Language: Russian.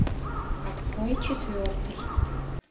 открой четвертый